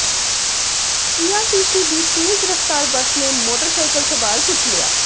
PRTC ਦੀ ਤੇਜ਼ ਰਫਤਾਰ ਬੱਸ ਨੇ ਮੋਟਰਸਾਈਕਲ ਸਵਾਰ ਕੁਚਲਿਆ